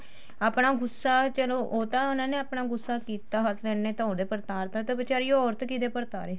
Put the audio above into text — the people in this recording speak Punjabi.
ਆਪਣਾ ਗੂੱਸਾ ਚਲੋ ਉਹ ਤਾਂ ਉਹਨਾ ਨੇ ਆਪਣਾ ਗੂੱਸਾ ਕੀਤਾ husband ਨੇ ਤਾਂ ਉਹਦੇ ਪਰ ਉਤਾਰ ਤਾ ਤਾਂ ਬੀਚਾਰੀ ਉਹ ਔਰਤ ਕਿਹਦੇ ਪਰ ਉਤਾਰੇ